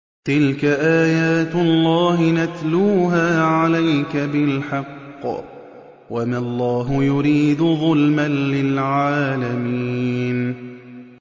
تِلْكَ آيَاتُ اللَّهِ نَتْلُوهَا عَلَيْكَ بِالْحَقِّ ۗ وَمَا اللَّهُ يُرِيدُ ظُلْمًا لِّلْعَالَمِينَ